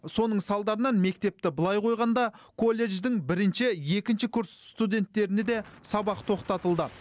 соның салдарынан мектепті былай қойғанда колледждің бірінші екінші курс студенттеріне де сабақ тоқтатылды